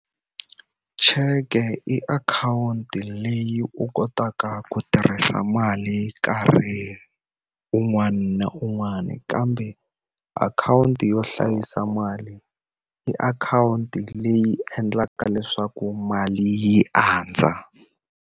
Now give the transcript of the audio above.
Cheke i akhawunti leyi u kotaka ku tirhisa mali nkarhi un'wana na un'wana. Kambe akhawunti yo hlayisa mali, i akhawunti leyi endlaka leswaku mali yi andza.